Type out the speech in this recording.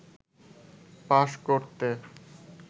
পাশ করতে